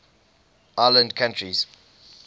island countries